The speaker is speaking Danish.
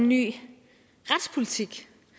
vi siger